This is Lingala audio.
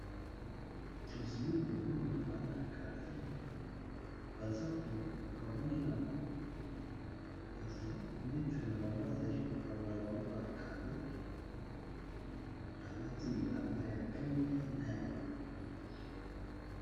Tozali komona bana ya gardiene bazali metre na bango bazali kokabola bango bacado balati bilamba ya pembe na ya bozinga.